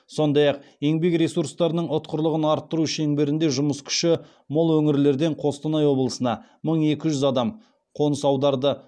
сондай ақ еңбек ресурстарының ұтқырлығын арттыру шеңберінде жұмыс күші мол өңірлерден қостанай облысына мың екі жүз адам қоныс аударды